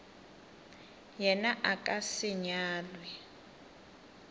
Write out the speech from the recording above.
yena a ka se nyalwe